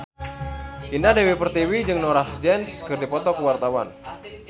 Indah Dewi Pertiwi jeung Norah Jones keur dipoto ku wartawan